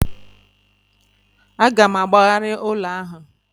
A ga m agbagharị ụlọ ahu